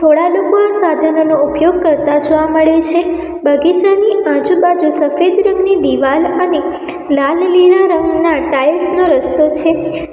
થોડા લોકો સાધનોનો ઉપયોગ કરતા જોવા મળે છે બગીચાની આજુબાજુ સફેદ રંગની દીવાલ અને લાલ લીલા રંગના ટાઇલ્સ નો રસ્તો છે.